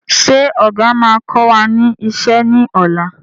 Ṣé ọ̀gà máa kọ wá ní ìṣe ni ọ̀la?